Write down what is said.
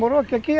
aqui.